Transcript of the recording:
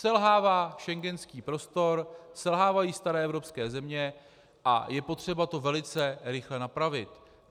Selhává schengenský prostor, selhávají staré evropské země a je potřeba to velice rychle napravit.